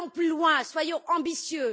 Allons plus loin, soyons ambitieux.